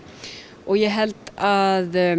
og ég held að